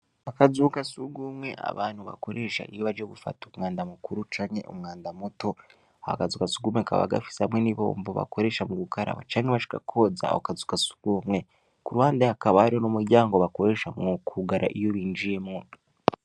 Akazu ka surwumwe abantu bakoresha iyo baje gufata umwanda mukuru canke umwanda muto; ako kazu ka surwumwe kakaba gafise hamwe n’ibombo bakoresha mu gukaraba, canke bashaka kwoza ako kazu ka surwumwe; ku ruhande hakaba hari n’umuryango bakoresha mu kwugara iyo binjiyemwo.